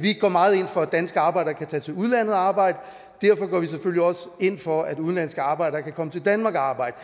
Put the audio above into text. vi går meget ind for at danske arbejdere kan tage til udlandet og arbejde og ind for at udenlandske arbejdere kan komme til danmark og arbejde